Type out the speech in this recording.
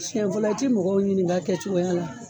Sɛn fɔlɔ i ti mɔgɔw ɲininka a kɛ cogoya la